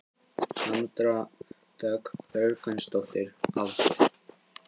Sandra Dögg Björgvinsdóttir Aldur?